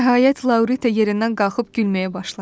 Nəhayət, Laurita yerindən qalxıb gülməyə başladı.